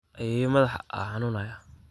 Ayeyo madhax aa xanunaya.